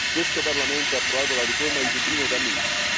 Questo Parlamento ha approvato la riforma di Dublino da mesi.